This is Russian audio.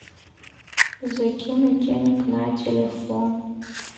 закинуть денег на телефон